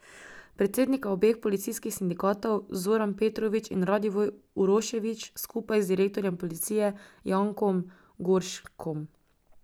Predsednika obeh policijskih sindikatov Zoran Petrovič in Radivoj Uroševič skupaj z direktorjem policije Jankom Gorškom.